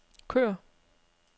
kør